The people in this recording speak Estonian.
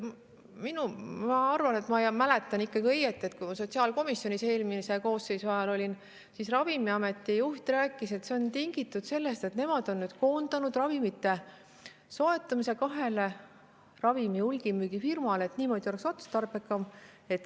Ma arvan, et ma mäletan ikkagi õieti, et kui ma sotsiaalkomisjonis eelmise koosseisu ajal olin, siis Ravimiameti juht rääkis, et need on tingitud sellest, et nad on nüüd koondanud ravimite soetamise kahe hulgimüügifirma kätte, sest niimoodi on otstarbekam.